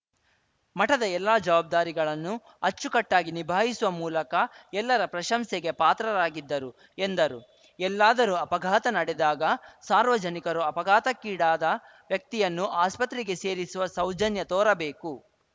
ಮಠದ ಎಲ್ಲ ಜವಾಬ್ದಾರಿಗಳನ್ನು ಅಚ್ಚುಕಟ್ಟಾಗಿ ನಿಭಾಯಿಸುವ ಮೂಲಕ ಎಲ್ಲರ ಪ್ರಶಂಸೆಗೆ ಪಾತ್ರರಾಗಿದ್ದರು ಎಂದರು ಎಲ್ಲಾದರೂ ಅಪಘಾತ ನಡೆದಾಗ ಸಾರ್ವಜನಿಕರು ಅಪಘಾತಕ್ಕೀಡಾದ ವ್ಯಕ್ತಿಯನ್ನು ಆಸ್ಪತ್ರೆಗೆ ಸೇರಿಸುವ ಸೌಜನ್ಯ ತೋರಬೇಕು